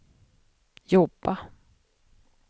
jobba